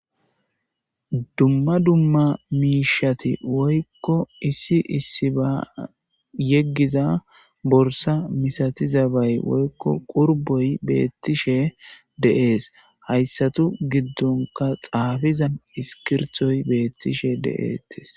Dumma dumma miishati woykko issi issi ba yeggiza borsa misatizabay woykko qurboy beettishe de'es hayssatu giddonka xaafiza iskirtoy beettishe de'ettes.